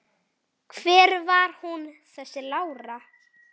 Hver var hún þessi Lára?